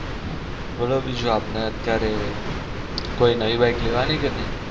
બોલો બીજું આપને અત્યારે કોઈ નવી bike લેવાની કે નઈ?